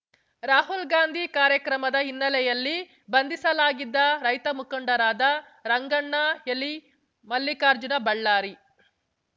ರಾಹುಲ್ ಗಾಂಧಿ ಕಾರ್ಯಕ್ರಮದ ಹಿನ್ನೆಲೆಯಲ್ಲಿ ಬಂಧಿಸಲಾಗಿದ್ದ ರೈತ ಮುಖಂಡರಾದ ರಂಗಣ್ಣ ಎಲಿ ಮಲ್ಲಿಕಾರ್ಜುನ ಬಳ್ಳಾರಿ